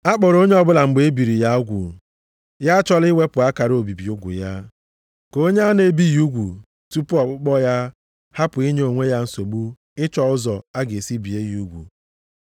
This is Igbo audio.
Akpọrọ onye ọbụla mgbe e biri ya ugwu? Ya achọla iwepụ akara obibi ugwu ya. Ka onye a na-ebighị ugwu tupu ọkpụkpọ ya hapụ inye onwe ya nsogbu ịchọ ụzọ a ga-esi bie ya ugwu.